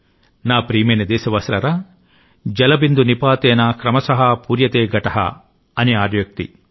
నా ప్రియమైన దేశవాసులారా జలబిందు నిపాతేన క్రమశః పూర్యతే ఘటః అని ఆర్యోక్తి